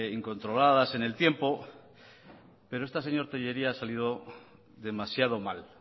incontroladas en el tiempo pero esta señor tellería ha salido demasiado mal